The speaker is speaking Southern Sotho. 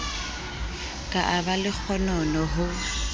ka a ba lekgonono ho